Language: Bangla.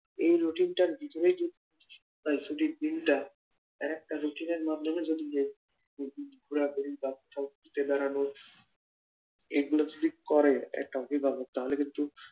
এই রুটিন টার ভিতরে যদি ছুটির দিনটা এক একটা রুটিনের মাধ্যমে যদি ঘোরাঘুরি এগুলো যদি করে একটা অভিভাবক তাহলে কিন্তু